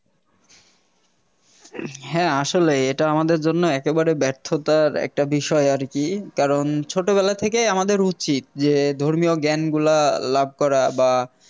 হ্যাঁ আসলেই এটা আমাদের জন্য একেবারে ব্যর্থতার একটা বিষয় আরকি কারণ ছোটবেলা থেকেই আমাদের উচিত যে ধর্মীয় জ্ঞান গুলা লাভ করা বা